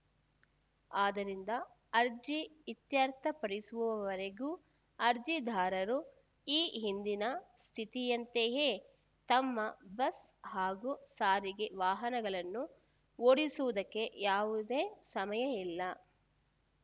ಆದ್ದರಿಂದ ಅರ್ಜಿ ಇತ್ಯರ್ಥಪಡಿಸುವವರೆಗೂ ಅರ್ಜಿದಾರರು ಈ ಹಿಂದಿನ ಸ್ಥಿತಿಯಂತೆಯೇ ತಮ್ಮ ಬಸ್‌ ಹಾಗೂ ಸಾರಿಗೆ ವಾಹನಗಳನ್ನು ಓಡಿಸುವುದಕ್ಕೆ ಯಾವುದೇ ಸಮಯ ಇಲ್ಲ